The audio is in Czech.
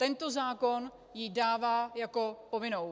Tento zákon ji dává jako povinnou.